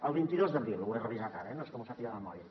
el vint dos d’abril ho he revisat ara no és que m’ho sàpiga de memòria